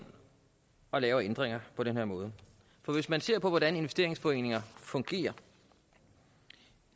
og laver ændringer på den her måde hvis man ser på hvordan investeringsforeninger fungerer